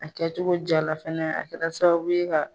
A kɛcogo jaala fɛnɛ a kɛla sababu ye ka